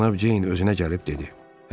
Cənab Ceyn özünə gəlib dedi: